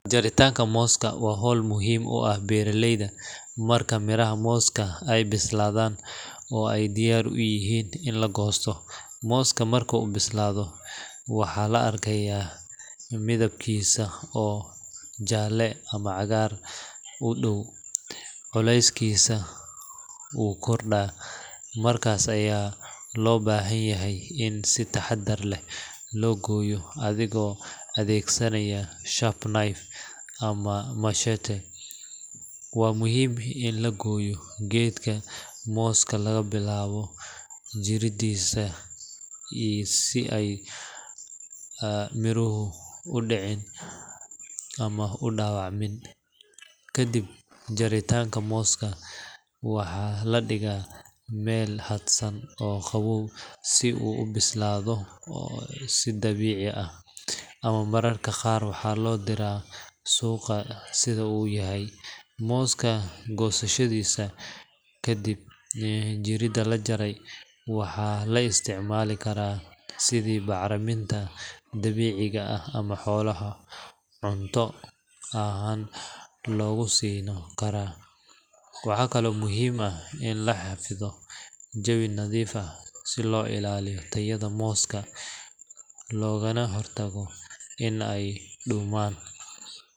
Jaritanka moska waa howl muhim u ah beeraleyda, marka miraha moska ay bislaadan oo ay diyar uyihiin in la goosto moska marka uu bislaado waxaa la arkaya midibkisa oo jaale ama cagaar udhow, culeyskiisa wuu korda markaas aya loo bahan yahay in si taxadar leh loo goyo adigo adeegsanayo sharp knive ama machete waa muhiim in la goyo gedka moska laga bilaawo jiridas oo iyo si mirihu u dhicin ama u dhabac min, kadib jarintaka moska waxa ladhiga Mel hadsan oo qaboob si u ubislaado oo si dabici ah ama mararka qaar waxa loo dira suqa sida uyahay, moska gosashadiisa kadib jirida lajaray waxaa la isticmaali karaa sidi bacriminta dabiciga ah ama xolaha cunto ahan loguso dhaqi karaa, waxa kale oo muhiim ini laxiro jawii nadiifa si loo illaliyo tayada moska logaba hor tago inay dhuuman